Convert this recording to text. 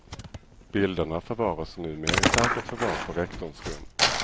Bilderna förvaras numer i säkert förvar på rektorns rum.